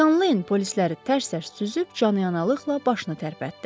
Skalen polisləri tərs-tərs süzüb canyanalılıqla başını tərpətdi.